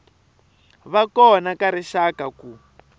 va kona ka rixaka ku